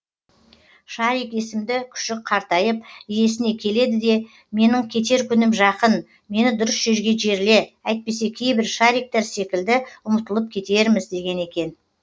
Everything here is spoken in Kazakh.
шарик есімді күшік қартайып иесіне келеді де менің кетер күнім жақын мені дұрыс жерге жерле әйтпесе кейбір шариктер секілді ұмытылып кетерміз деген екен